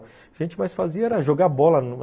O que a gente mais fazia era jogar bola.